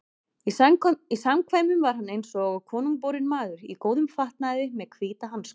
Í samkvæmum var hann eins og konungborinn maður, í góðum fatnaði og með hvíta hanska.